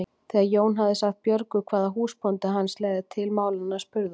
Þegar Jón hafði sagt Björgu hvað húsbóndi hans legði til málanna spurði hún